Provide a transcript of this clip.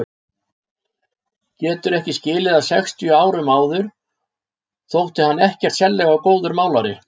Getur ekki skilið að sextíu árum áður þótti hann ekkert sérlega góður málari.